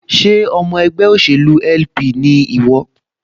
Ṣé ọmọ ẹgbẹ́ òṣèlú LP ni ìwọ?